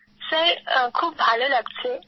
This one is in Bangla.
স্যার খুব ভাল লাগছে